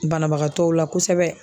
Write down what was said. Banabagatɔw la kosɛbɛ.